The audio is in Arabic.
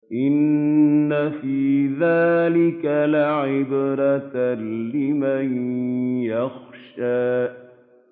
إِنَّ فِي ذَٰلِكَ لَعِبْرَةً لِّمَن يَخْشَىٰ